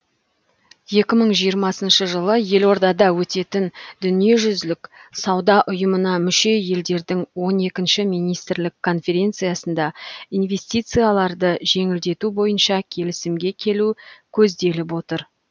екі мың жиырмасыншы жылы елордада өтетін дүниежүзілік сауда ұйымына мүше елдердің он екінші министрлік конференциясында инвестицияларды жеңілдету бойынша келісімге келу көзделіп отыр